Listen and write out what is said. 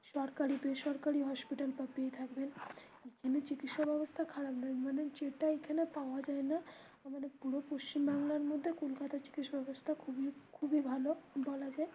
সরকারি বেসরকারি hospital তো পেয়েই থাকবেন এখানে চিকিৎসা ব্যবস্থা খারাপ না মানে যেটা এখানে পাওয়া যায় না. আমাদের পুরো পশ্চিম বাংলার মধ্যে কলকাতার চিকিৎসা ব্যবস্থা খুবই খুবই ভালো বলা যায়.